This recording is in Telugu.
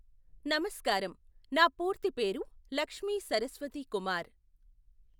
నమస్కారం, నా పూర్తి పేరు లక్ష్మీ సరస్వతీ కుమార్.